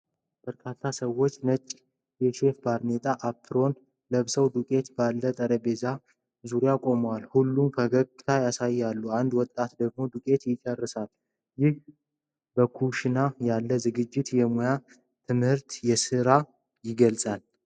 በርካታ ሰዎች ነጭ የሼፍ ባርኔጣና አፕሮን ለብሰው ዱቄት ባለው ጠረጴዛ ዙሪያ ቆመዋል። ሁሉም ፈገግታ ያሳያሉ፣ አንድ ወጣት ደግሞ ዱቄት ይጨርሳል። ይህ በኩሽና ያለው ዝግጅት የሙያ ትምህርትና የሥራን ይገልጻል፡፡